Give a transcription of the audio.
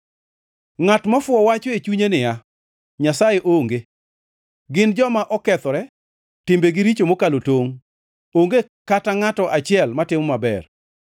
Ngʼat mofuwo wacho e chunye niya, “Nyasaye onge.” Gin joma okethore, timbegi richo mokalo tongʼ, onge kata ngʼato achiel matimo maber.